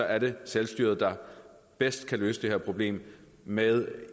er det selvstyret der bedst kan løse det her problem med